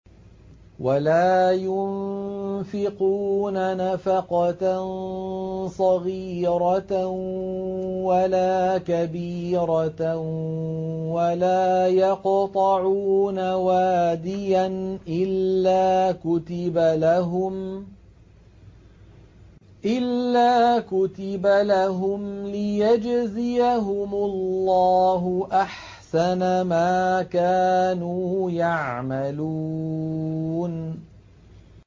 وَلَا يُنفِقُونَ نَفَقَةً صَغِيرَةً وَلَا كَبِيرَةً وَلَا يَقْطَعُونَ وَادِيًا إِلَّا كُتِبَ لَهُمْ لِيَجْزِيَهُمُ اللَّهُ أَحْسَنَ مَا كَانُوا يَعْمَلُونَ